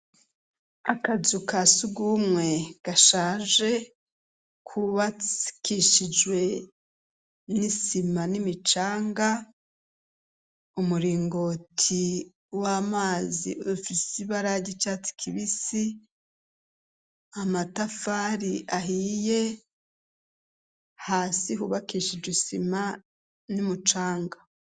Akazu ka si ugumwe gashaje kuwaikishijwe n'isima n'imicanga umuringoti w'amazi ofisi baraga icatsi kibisi amatafari ahiye hasi hubakisha ijisima n'umucanga.